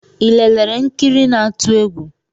I lelere nkiri na-atu egwu?